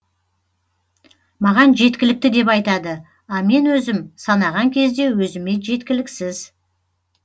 маған жеткілікті деп айтады а мен өзім санаған кезде өзіме жеткіліксіз